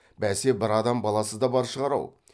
бәсе бір адам баласы да бар шығар ау